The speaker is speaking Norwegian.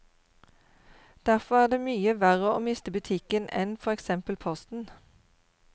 Derfor er det mye verre å miste butikken enn for eksempel posten.